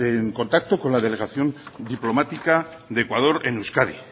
en contacto con la delegación diplomática de ecuador en euskadi